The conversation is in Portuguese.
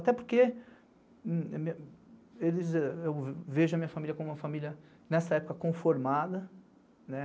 Até porque eu vejo a minha família como uma família, nessa época, conformada.